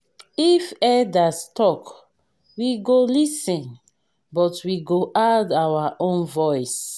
if elders talk we go lis ten but we go add our own voice.